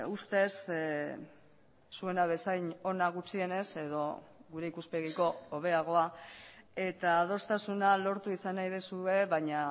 ustez zuena bezain ona gutxienez edo gure ikuspegiko hobeagoa eta adostasuna lortu izan nahi duzue baina